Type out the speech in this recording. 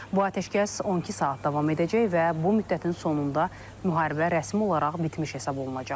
Bu atəşkəs 12 saat davam edəcək və bu müddətin sonunda müharibə rəsmi olaraq bitmiş hesab olunacaq.